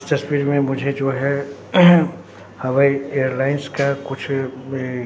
इस तस्वीर में मुझे जो हैं अहम्म हवाई एयरलाइंस का कुछ--